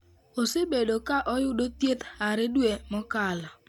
Osebedo ka oyudo thieth hare dwe mokalo.